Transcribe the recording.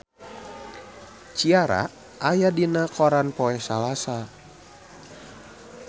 Ciara aya dina koran poe Salasa